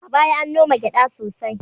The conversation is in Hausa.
A baya an noma gyada sosai